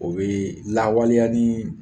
O bee lawaleya nii